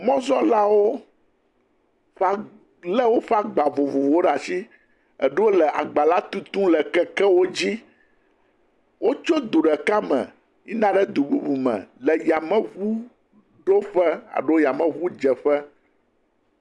Mɔzɔlawo lé woƒe agba vovovowo ɖe ashi, eɖowo le agba la tutu le kekewo dzi, wo tso du ɖeka me yi na ɖe du bubu me, le yame ʋu ɖoƒe aɖo yame ʋu dzeƒe.